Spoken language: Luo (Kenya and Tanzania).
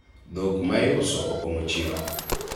dhok ma iuso opong'o chiro